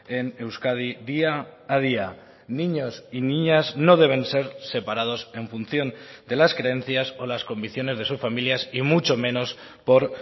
en euskadi día a día niños y niñas no deben ser separados en función de las creencias o las convicciones de sus familias y mucho menos por